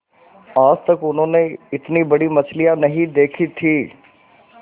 आज तक उन्होंने इतनी बड़ी मछली नहीं देखी थी